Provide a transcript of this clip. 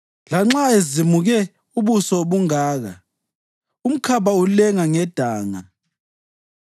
Lanxa ezimuke ubuso bungaka, umkhaba ulenga ngedanga,